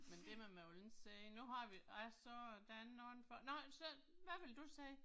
Men det må man jo ikke sige, nu har vi, jeg så, der er nogle, nåh så, hvad ville du sige?